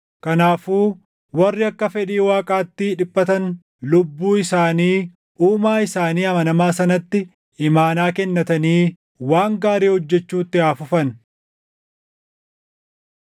Kanaafuu warri akka fedhii Waaqaatti dhiphatan lubbuu isaanii Uumaa isaanii amanamaa sanatti imaanaa kennatanii waan gaarii hojjechuutti haa fufan.